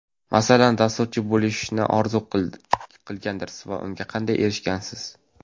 Masalan, dasturchi bo‘lishni orzu qilgandirsiz va unga qanday erishgansiz?